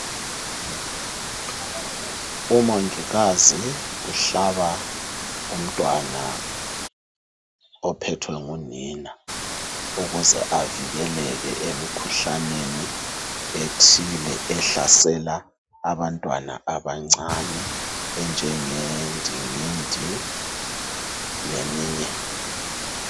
Umongikazi uhlaba umntwana ophethwe ngunina. Ukuze avikeleke emikhuhlaneni ethile, ehlasela abantwana abancane. Enjengendingindi leminye.